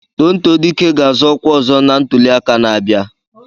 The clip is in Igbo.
Tonto Dike ga-àzọ́ ọ́kwá ọ̀zọ́ na ntuliaka na-abịa